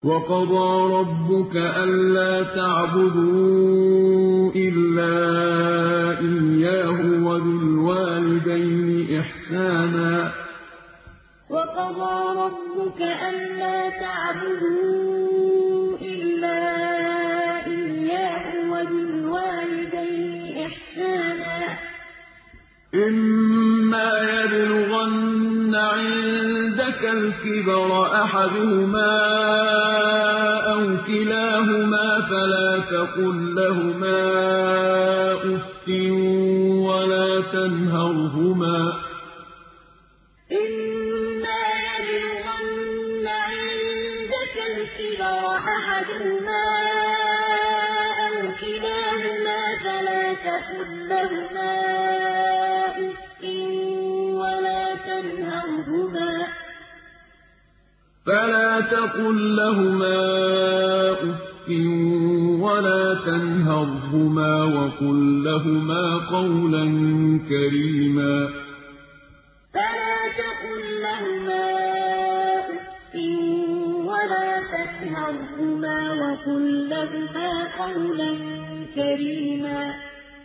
۞ وَقَضَىٰ رَبُّكَ أَلَّا تَعْبُدُوا إِلَّا إِيَّاهُ وَبِالْوَالِدَيْنِ إِحْسَانًا ۚ إِمَّا يَبْلُغَنَّ عِندَكَ الْكِبَرَ أَحَدُهُمَا أَوْ كِلَاهُمَا فَلَا تَقُل لَّهُمَا أُفٍّ وَلَا تَنْهَرْهُمَا وَقُل لَّهُمَا قَوْلًا كَرِيمًا ۞ وَقَضَىٰ رَبُّكَ أَلَّا تَعْبُدُوا إِلَّا إِيَّاهُ وَبِالْوَالِدَيْنِ إِحْسَانًا ۚ إِمَّا يَبْلُغَنَّ عِندَكَ الْكِبَرَ أَحَدُهُمَا أَوْ كِلَاهُمَا فَلَا تَقُل لَّهُمَا أُفٍّ وَلَا تَنْهَرْهُمَا وَقُل لَّهُمَا قَوْلًا كَرِيمًا